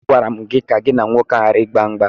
Agwara m gị ka gị na nwoke ahụ gbara ịgba mgba!